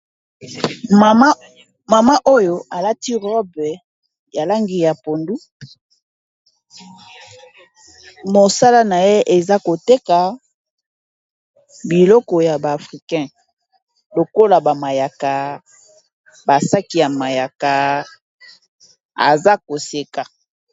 Mama oyo alati robe ya langi ya pondu mosala na ye eza koteka biloko ya ba africain lokola bamayaka basaki ya mayaka aza koseka.